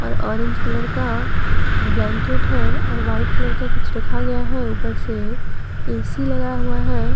Orange colour का blanket है और वाइट कलर का कुछ रखा गया है ऊपर से ए_सी लगाया हुआ है।